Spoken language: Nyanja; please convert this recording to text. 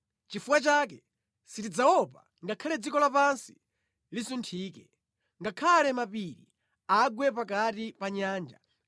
Nʼchifukwa chake sitidzaopa ngakhale dziko lapansi lisunthike, ngakhale mapiri agwe pakati pa nyanja,